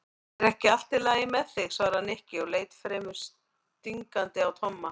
Er ekki allt lagi með þig? svaraði Nikki og leit fremur stingandi á Tomma.